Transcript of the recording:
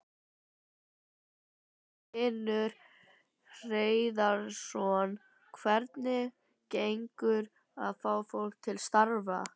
Magnús Hlynur Hreiðarsson: Hvernig gengur að fá fólk til starfa?